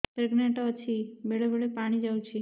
pregnant ଅଛି ବେଳେ ବେଳେ ପାଣି ଯାଉଛି